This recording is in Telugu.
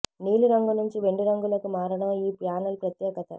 నీలి రంగు నుంచి వెండి రంగులోకి మారడం ఈ ప్యానల్ ప్రత్యేకత